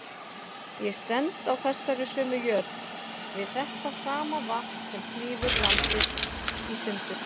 Ég stend á þessari sömu jörð, við þetta sama vatn sem klýfur landið í sundur.